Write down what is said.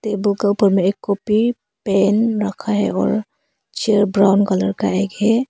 दो कप में एक कॉपी पेन रखा है और चेयर ब्राउन कलर का एक है।